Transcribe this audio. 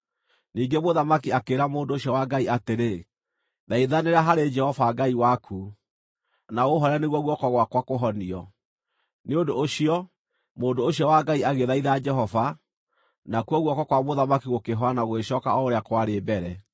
Ningĩ mũthamaki akĩĩra mũndũ ũcio wa Ngai atĩrĩ, “Thaithanĩra harĩ Jehova Ngai waku, na ũũhooere nĩguo guoko gwakwa kũhonio.” Nĩ ũndũ ũcio, mũndũ ũcio wa Ngai agĩthaitha Jehova, nakuo guoko kwa mũthamaki gũkĩhona na gũgĩcooka o ũrĩa kwarĩ mbere.